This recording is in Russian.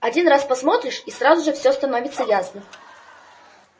один раз посмотришь и сразу же всё становится ясно